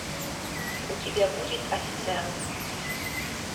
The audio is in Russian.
у тебя будет официант